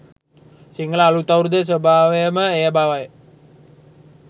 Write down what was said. සිංහල අලුත් අවුරුද්දේ ස්වභාවයම එය බවය